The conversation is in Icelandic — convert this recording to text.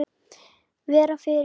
Vera fyrir.